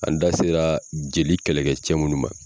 An da sera jeli kɛlɛkɛcɛ minnu ma.